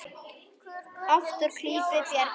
Oft úr klípu bjargar sér.